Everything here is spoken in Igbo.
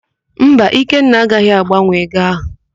Mba, Ikenna agaghị agbanwe ego áhụ̀.